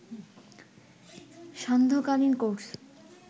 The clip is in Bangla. সান্ধ্য কালীন কোর্স